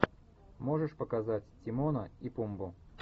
можешь показать тимона и пумбу